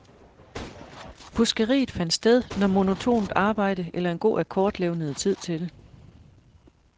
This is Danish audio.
Fuskeriet fandt sted, når monotont arbejde eller en god akkord levnede tid til det.